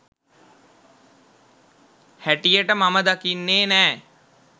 හැටියට මම දකින්නේ නෑ.